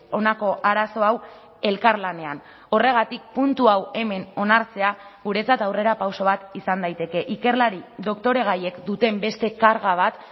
honako arazo hau elkarlanean horregatik puntu hau hemen onartzea guretzat aurrerapauso bat izan daiteke ikerlari doktoregaiek duten beste karga bat